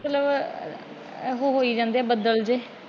ਮਤਲਬ ਅੱਗੋਂ ਹੋਇ ਜਾਂਦੇ ਬੱਦਲ ਜਿਹੇ।